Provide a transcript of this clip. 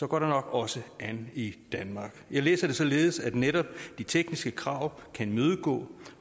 går det nok også an i danmark jeg læser det således at netop de tekniske krav kan imødegå